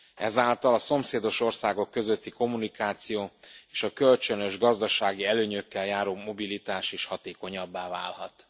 Ezáltal a szomszédos országok közötti kommunikáció, és a kölcsönös gazdasági előnyökkel járó mobilitás is hatékonyabbá válhat.